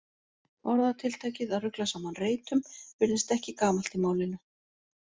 Orðatiltækið að rugla saman reytum virðist ekki gamalt í málinu.